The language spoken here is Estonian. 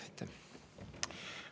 Aitäh!